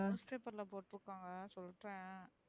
newspaper ல போற்றுகாங்க சொல்றேன்.